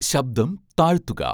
ശബ്ദം താഴ്ത്തുക